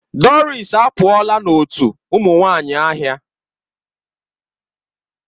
Doris apụọla n'otu ụmụ nwanyị ahịa.